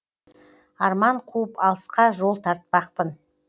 арман қуып алысқа жол тартпақпын